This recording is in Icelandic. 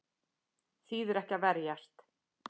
Þýðir ekki að verjast